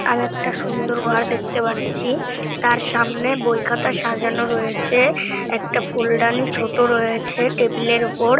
আর একটা সুন্দর ঘর দেখতে পাচ্ছি। তার সামনে বই খাতা সাজানো রয়েছে একটা ফুলদানি ছোট রয়েছে টেবিল -এর ওপর।